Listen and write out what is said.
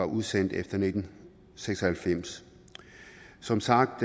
udsendt efter nitten seks og halvfems som sagt